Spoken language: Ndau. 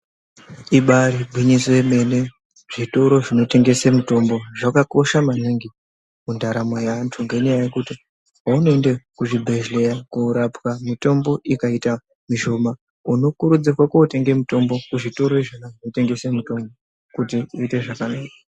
Ibari gwinyiso yemene. Zvitoro zvinotengese mitombo zvakakosha maningi mundaramo yeantu ngenyaya yekuti paunoenda kuzvibhedhleya korapwa mitombo ikaita mishoma unokurudzirwe kotenga mitombo kuzvitoro izvona zvinotengesa mitombo kuti zviite zvakanaka.